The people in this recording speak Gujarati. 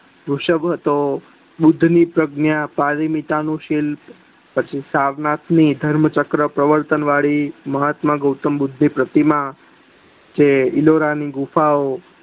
વૃષ હતો બુદ્ધ ની પ્રગ્ન્યા પરીમીતા નું સીલ પછી સવનાથ ની ધર્મ ચર્ક પર પર્વતન વાડી મહાત્મા ગોતમ બુદ્ધ ની પ્રતિમા જે ઈલોરા ની ગુફાઓ